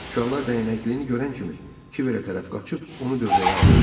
Uşaqlar dəyənəklinin görən kimi Kiverə tərəf qaçıb onu dövrəyə aldılar.